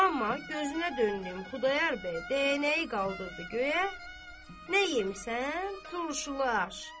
Amma gözünə döndüyüm Xudayar bəy dəyənəyi qaldırdı göyə, “nə yemisən, duruşulaş?”